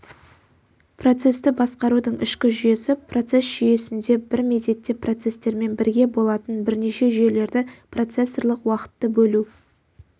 процесті басқарудың ішкі жүйесі процесс жүйесінде бір мезетте процестермен бірге болатын бірнеше жүйелерді процессорлық уақытты бөлу